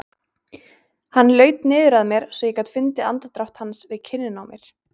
Hann laut niður að mér svo ég gat fundið andardrátt hans við kinnina á mér.